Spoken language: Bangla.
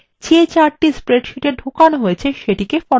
যে chartthe স্প্রেডশীটে ঢোকানো হয়েছে সেটিকে ফরম্যাট করা যাক